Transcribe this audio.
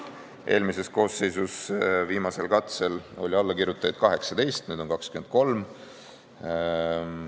Eelmises koosseisus viimasel katsel oli allakirjutajaid 18, nüüd on 23.